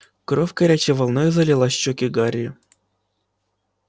кровь горячей волной залила щеки гарри